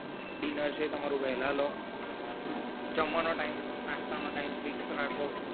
dinner છે તમારું વહેલા લો જમવાનો time નાસ્તા નો time fix રાખો